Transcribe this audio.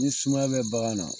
Ni sumaya bɛ bagan na